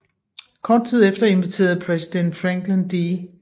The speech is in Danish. Kort tid efter inviterede præsident Franklin D